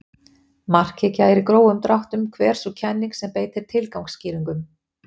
Markhyggja er í grófum dráttum hver sú kenning sem beitir tilgangsskýringum.